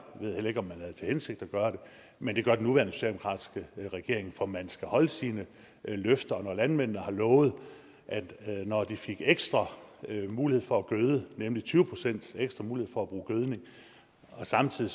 ved heller ikke om man havde til hensigt at gøre det men det gør den nuværende socialdemokratiske regering for man skal holde sine løfter og når landmændene har lovet at når de fik ekstra mulighed for at gøde nemlig tyve procent ekstra mulighed for at bruge gødning og samtidig